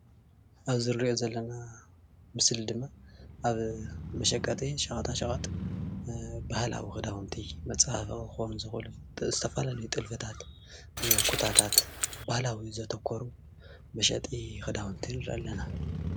ኣብዚ ንሪኦ ዘለና ምስሊ ድማ ኣብ መሽቀጢ ሸቀጣሸቀጥ ባህላዊ ክዳዉንቲ መጸባበቂ ክኮኑ ዝክእሉ ዝተፈላልዩ ጥልፍታት ኩታታት ባህላዊ ዘተኩሩ መሸጢ ክዳዉንቲ ንርኢ ኣለና።